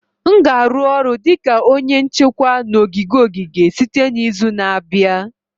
M ga-arụ ọrụ dị ka onye nchekwa na ogige ogige site n'izu na-abịa